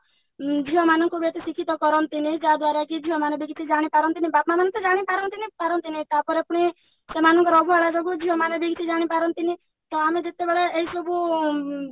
ଉଁ ଝିଅ ମାନଙ୍କୁ ବି ଏତେ ଶିକ୍ଷିତ କରନ୍ତିନି ଯାହା ଦ୍ଵାରା କି ଝିଅ ମାନେ ବି କିଛି ଜାଣିପାରନ୍ତିନି ବାପା ମାନେ ତ ଜାଣିପାରନ୍ତିନି ପାରନ୍ତିନି ତାପରେ ପୁଣି ସେମାନଙ୍କର ଅବହେଳା ଯୋଗୁ ଝିଅମାନେ ବି କିଛି ଜାଣିପାରନ୍ତିନି ତ ଆମେ ଯେତେବେଳେ ଏଇ ସବୁ